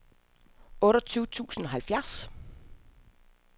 otteogtyve tusind og halvfjerds